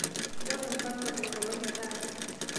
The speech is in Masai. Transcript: nchooki mpango enkolong' e taata